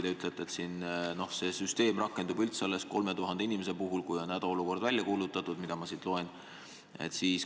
Te ütlete, et see süsteem rakendub üldse alles 3000 inimese puhul, kui on hädaolukord välja kuulutatud, nagu ma siit loen.